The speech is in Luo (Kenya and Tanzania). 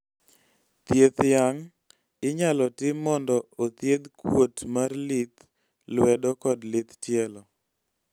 thieth yang' inyalo tim mondo othiedh kuot mar lith lwedo kod lith tielo